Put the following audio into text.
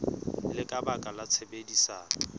le ka baka la tshebedisano